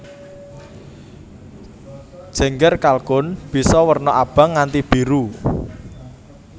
Jengger kalkun bisa werna abang nganti biru